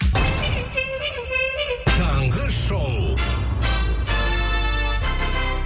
таңғы шоу